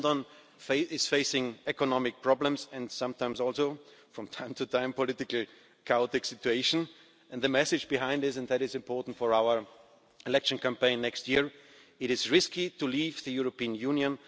London is facing economic problems, and sometimes also from time to time a politically chaotic situation, and the message behind that is important for our election campaign next year it is risky to leave the European Union.